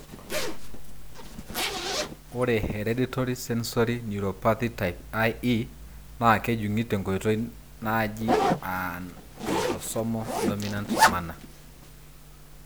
Ore Hereditary sensory neuropathy type IE (HSNIE) na kejungi tenkoitoi naaji an autosomal dominant manner.